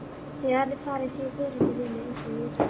Þegar hann er farinn segir Þórhildur við mig undur mjúklega.